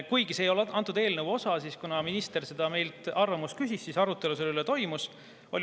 Kuigi see ei ole selle eelnõu osa, küsis minister meilt arvamust ja arutelu selle üle toimus.